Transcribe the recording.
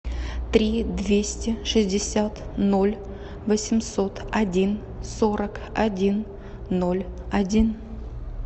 три двести шестьдесят ноль восемьсот один сорок один ноль один